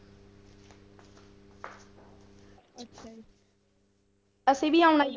ਅਸੀਂ ਵੀ ਆਉਣਾ